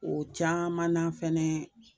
O caman na fɛnɛ